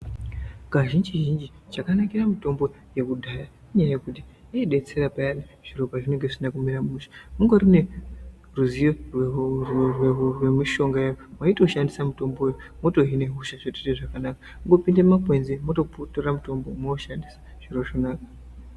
Kazhinji-zhinji chakanakire mutombo wekudhaya inyaya yekuti inodetsera payani zviro zvisina kumira mushe, ungori neruziyo rwemushongayo waitoshandisa mutombo uyu wotohine hosha zvotoite zvakanaka, kungopinde mumakwenzi mwototora mutombo mwoushandisa zviro zvonaka.